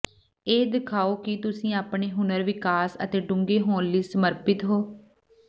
ਇਹ ਦਿਖਾਓ ਕਿ ਤੁਸੀਂ ਆਪਣੇ ਹੁਨਰ ਵਿਕਾਸ ਅਤੇ ਡੂੰਘੇ ਹੋਣ ਲਈ ਸਮਰਪਿਤ ਹੋ